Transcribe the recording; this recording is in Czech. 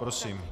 Prosím.